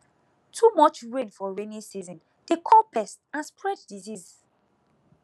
too much rain for rainy season dey call pest and spread disease